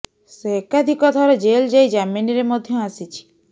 ସେ ଏକାଧିକ ଥର ଜେଲ୍ ଯାଇ ଜାମିନରେ ମଧ୍ୟ ଆସିଛି